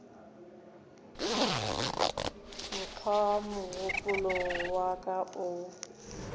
mokgwa mogopolo wa ka o